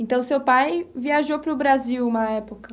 Então, seu pai viajou para o Brasil uma época?